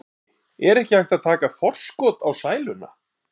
Jói, er ekki hægt að taka forskot á sæluna?